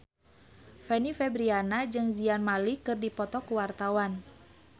Fanny Fabriana jeung Zayn Malik keur dipoto ku wartawan